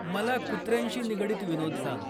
मला कुत्र्यांशी निगडीत विनोद सांग